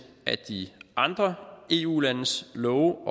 af de andre eu landes love